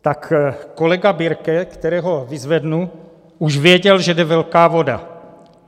Tak kolega Birke, kterého vyzvednu, už věděl, že jde velká voda.